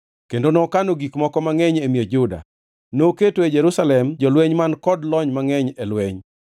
Kendo nokano gik moko mangʼeny e miech Juda. Noketo e Jerusalem jolweny man kod lony mangʼeny e lweny.